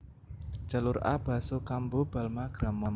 Jalur A Basso Cambo Balma Gramont